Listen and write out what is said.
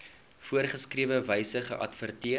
voorgeskrewe wyse geadverteer